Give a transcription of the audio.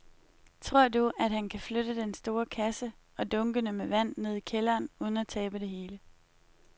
Tror du, at han kan flytte den store kasse og dunkene med vand ned i kælderen uden at tabe det hele?